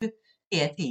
DR P1